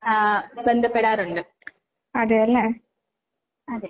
ബന്ധപ്പെടാറുണ്ട്. അതേ